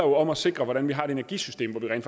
om at sikre hvordan vi har et energisystem hvor vi rent